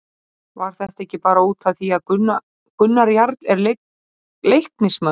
Var þetta ekki bara út af því að Gunnar Jarl er Leiknismaður?